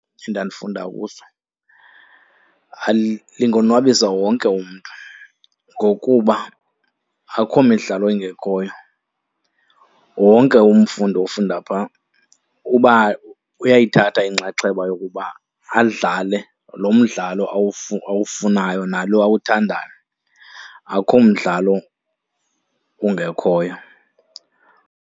Endandifunda kuso lingonwabisa wonke umntu ngokuba akukho midlalo ingekhoyo. Wonke umfundi ofunda pha uyayithatha inxaxheba yokuba adlale lo mdlalo awufunayo nalo awuthandayo, akukho mdlalo ungekhoyo.